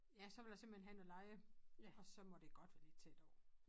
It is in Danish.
Ja så vil jeg simpelthen have noget leje og så må det godt være lidt tæt på